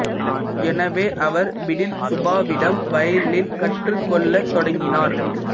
எனவே அவர் பிடில் சுப்பாவிடம் வயலின் கற்றுக் கொள்ளத் தொடங்கினார்